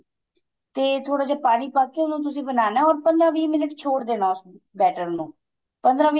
ਤੇ ਥੋੜਾ ਜਾ ਪਾਣੀ ਪਾ ਕੇ ਉਹਨੂੰ ਤੁਸੀਂ ਬਣਾਨੇ or ਪੰਦਰਾ ਵਿਹ minute ਛੋੜ ਦੇਣਾ better ਨੂੰ ਪੰਦਰਾਂ ਵਿਹ